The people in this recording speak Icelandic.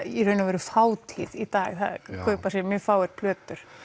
í raun og veru fátíð í dag það kaupa sér mjög fáir plötur